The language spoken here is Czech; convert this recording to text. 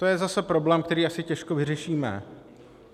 To je zase problém, který asi těžko vyřešíme.